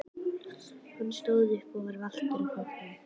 Hann stóð upp og var valtur á fótunum.